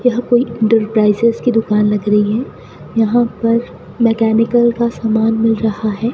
यह कोई इंटरप्राइजेज की दुकान लग रही है यहां पर मैकेनिकल का सामान मिल रहा है।